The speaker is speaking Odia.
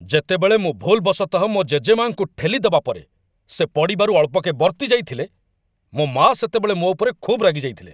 ଯେତେବେଳେ ମୁଁ ଭୁଲ୍‌ବଶତଃ ମୋ ଜେଜେମା'ଙ୍କୁ ଠେଲି ଦେବା ପରେ ସେ ପଡ଼ିବାରୁ ଅଳ୍ପକେ ବର୍ତ୍ତିଯାଇଥିଲେ, ମୋ ମା' ସେତେବେଳେ ମୋ ଉପରେ ଖୁବ୍ ରାଗିଯାଇଥିଲେ।